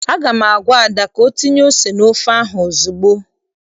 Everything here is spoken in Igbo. Aga m agwa Ada ka o tinye ose n'ofe ahụ ozugbo!